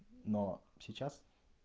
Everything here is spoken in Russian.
но сейчас